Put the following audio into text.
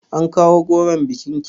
An kawo goron bikin ki?